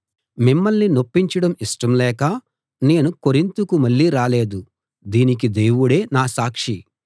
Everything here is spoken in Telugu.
మిమ్మల్ని నొప్పించడం ఇష్టం లేక నేను కొరింతుకు మళ్ళీ రాలేదు దీనికి దేవుడే నా సాక్షి